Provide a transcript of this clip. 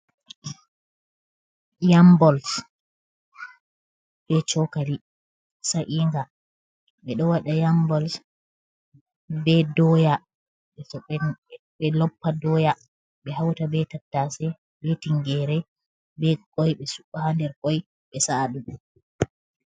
Yam-balls be chokali sa'inga: Be do wada yam-balls be doya. Be loppa doya be hauta be tattase, be tingere be kwai. Be su66a nder kwai be sa'a dum.